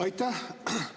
Aitäh!